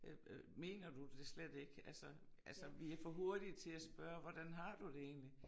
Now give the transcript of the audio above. Øh øh mener du det slet ikke altså altså vi er for hurtige til at spørge hvordan har du det egentlig